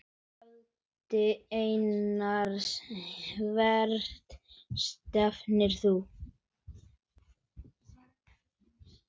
Valdi Einars Hvert stefnir þú?